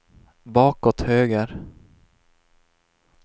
bakåt höger